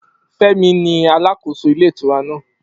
Femi ni alàkóso ilé ìtura náà